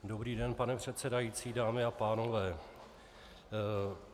Dobrý den, pane předsedající, dámy a pánové.